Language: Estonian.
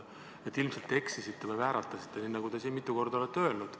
Te ilmselt eksisite või keel vääratas, nagu te siin mitu korda olete öelnud.